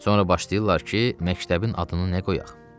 Sonra başlayırlar ki, məktəbin adını nə qoyaq?